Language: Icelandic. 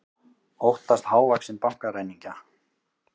Óttast hávaxinn bankaræningja